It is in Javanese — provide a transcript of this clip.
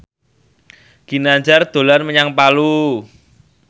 Ginanjar dolan menyang Palu